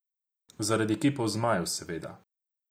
Zaradi kipov zmajev, seveda.